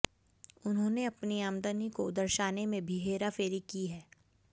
उन्होंने अपनी आमदनी को दर्शाने में भी हेराफेरी की है